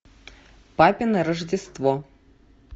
папино рождество